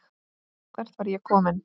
Hvert var ég kominn?